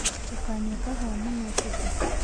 Ndũkanyũe kahũa mũno ũtũkũ